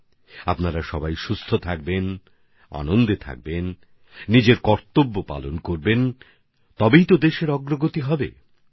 আপনারা সবাই সুস্থ থাকুন আনন্দে থাকুন কর্তব্য পথে অটল থাকুন তাহলেই দেশ দ্রুতগতিতে এগিয়ে যাবে